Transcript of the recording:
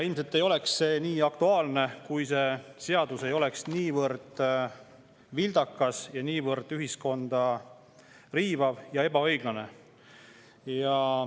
Ilmselt ei oleks see nii aktuaalne, kui see seadus ei oleks niivõrd vildakas ja niivõrd ühiskonda riivav ja ebaõiglane.